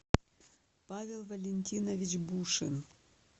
павел валентинович бушин